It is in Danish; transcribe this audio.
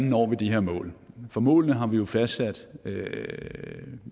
når de her mål for målene har vi jo fastsat